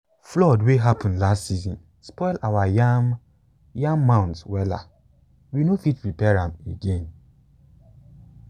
flood wey happen last season spoil our yam yam mounds wella we no fit repair am again.